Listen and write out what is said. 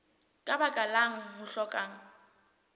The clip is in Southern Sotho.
ka baka lang o hlokang